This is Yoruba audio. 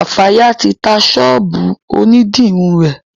Kafaya ti tá sọ́ọ̀bù òní dirun rẹ.